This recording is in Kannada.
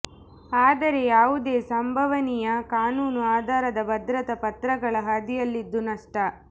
ಆದರೆ ಯಾವುದೇ ಸಂಭವನೀಯ ಕಾನೂನು ಆಧಾರದ ಭದ್ರತಾ ಪತ್ರಗಳ ಹಾದಿಯಲ್ಲಿದ್ದು ನಷ್ಟ